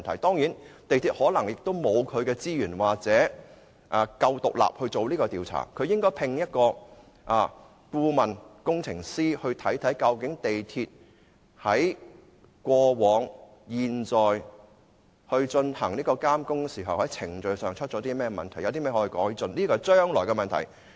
當然，港鐵公司可能沒有資源或足夠的獨立性進行調查，而應該聘請顧問工程師看看究竟港鐵公司在過往及現在進行監工時，或程序上出了甚麼問題，有甚麼地方可以改進，這是將來的問題。